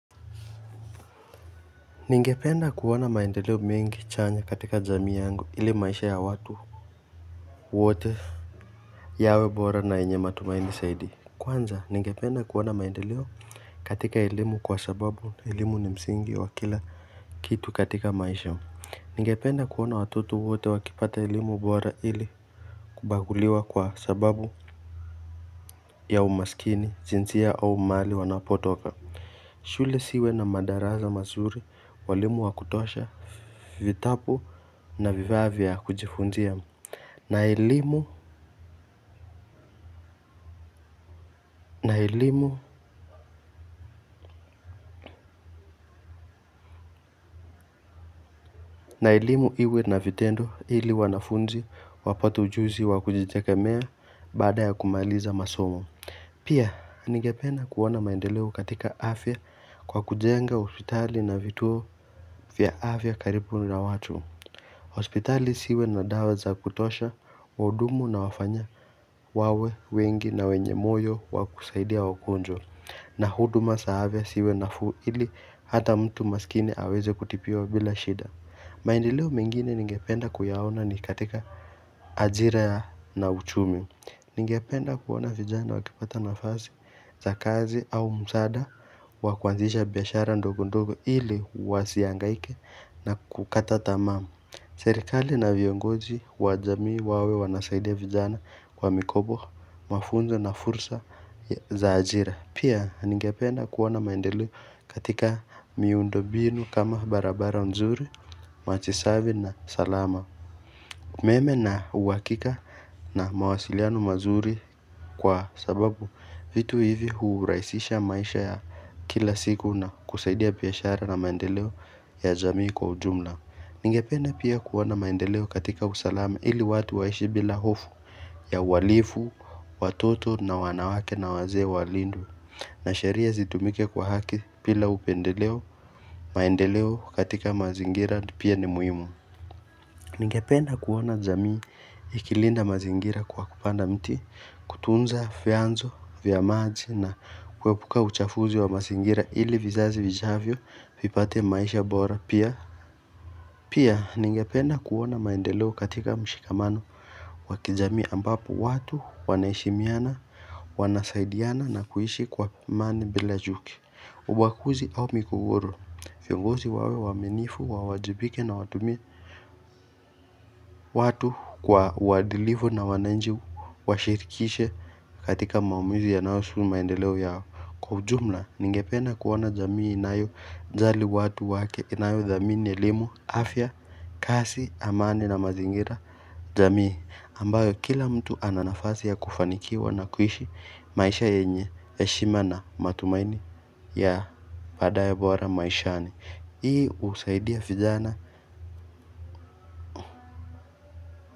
Ningependa kuoana maendeleo mengi chanya katika jamii yangu ili maisha ya watu wote yawe bora na yenye matumaini saidi Kwanza ningependa kuona maendeleo katika elimu kwa sababu elimu ni msingi wa kila Kitu katika maisha Ningependa kuona watutu wote wakipata elimu bora ili Kubaguliwa kwa sababu ya umasikini jinsia au mahali wanapotoka shule siwe na madaraza mazuri walimu wakutosha Vitapu na vifaa vya kujifunzia na elimu na elimu na elimu iwe na vitendo ili wanafunzi wapate ujuzi wakujiteke mea baada ya kumaliza masomo Pia, nigependa kuona maendeleo katika afya kwa kujenga hospitali na vituo vya afya karibu na watu hospitali siwe na dawaza kutosha wahudumu na wafanya wawe wengi na wenye moyo wakusaidia wagonjwa na huduma sa afaya siwe nafuu ili hata mtu masikini aweze kutipiwa bila shida Maendileo mengine ningependa kuyaona ni katika ajira na uchumi Ningependa kuona vijana wakipata nafasi za kazi au msaada wakuanzisha biashara ndogo ndogo ili wasiangaike na kukata tamaam Serikali na viongoji wa jamii wawe wanasaidia vijana kwa mikobo mafunzo na fursa za ajira Pia ningependa kuona maendeleo katika miundobinu kama barabara nzuri, machisavi na usalama Meme na uhakika na mawasiliano mazuri kwa sababu vitu hivi hurahisisha maisha ya kila siku na kusaidia piashara na maendeleo ya jamii kwa ujumla Ningependa pia kuona maendeleo katika usalama ili watu waishi bila hofu ya wahalifu, watoto na wanawake na wazee walindwe na sheria zitumike kwa haki pila upendeleo maendeleo katika mazingira pia ni muhimu Ningependa kuona jamii ikilinda mazingira kwa kupanda mti kutunza fyanzo vya maji na kuepuka uchafuzi wa mazingira ili vizazi vijavyo vipate maisha bora pia Pia ningependa kuona maendeleo katika mshikamano wa kijamii ambapo watu wana heshimiana wanasaidiana na kuishi kwa amani bila juki Ubakuzi au migogoro Fiongozi wawe waaminifu, wawajibike na watumie watu kwa uwadilivu na wananji Washirikishe katika maumizi ya naosu maendeleo yao Kwa ujumla, ninge penda kuona jamii inayo jali watu wake inayo dhamini elimu, afya, kasi, amani na mazingira jamii ambayo kila mtu ananafasi ya kufanikiwa na kuishi maisha yenye heshimana matumaini ya paadayebora maisha ni ii husaidia fijana.